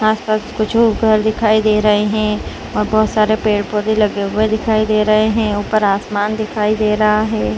आसपास कुछ और घर दिखाई दे रहे हैं और बहुत सारे पेड़-पौधे लगे हुए दिखाई दे रहे हैं ऊपर आसमान दिखाई दे रहा है।